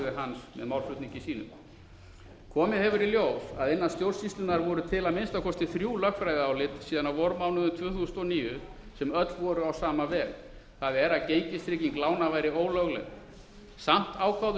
með málflutningi sínum komið hefur í ljós að innan stjórnsýslunnar voru til að minnsta kosti þrjú lögfræðiálit síðan á vormánuðum tvö þúsund og níu sem öll voru á lasta veg það er að gengistrygging lána væri ólögleg samt ákváðu